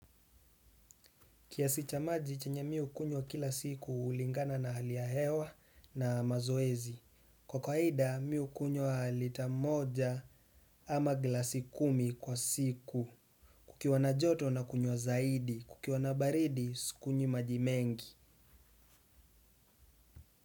Kiasi cha maji chenya mi hukunywa kila siku hulingana na hali ya hewa na mazoezi. Kwa kawaida mi hukunywa lita moja ama glasi kumi kwa siku. Kukiwa na joto nakunywa zaidi. Kukiwa na baridi sikunywi maji mengi.